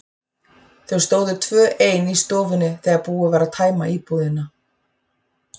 Þau stóðu tvö ein í stofunni þegar búið var að tæma íbúðina.